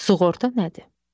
Sığorta nədir?